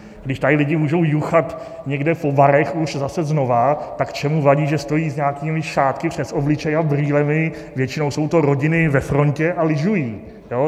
Když tady lidé můžou juchat někde po barech už zase znova, tak čemu vadí, že stojí s nějakými šátky přes obličej a brýlemi, většinou jsou to rodiny ve frontě a lyžují.